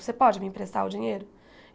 Você pode me emprestar o dinheiro?